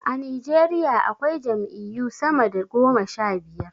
A Nijeriya akwai jam'iyyu sama da goma sha biyar.